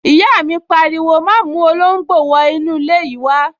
Ìyá mi pariwo, 'má mú olóngbò wọ inú ilé yìí wá